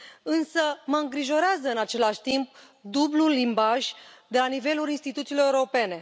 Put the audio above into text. Însă mă îngrijorează, în același timp, dublul limbaj de la nivelul instituțiilor europene.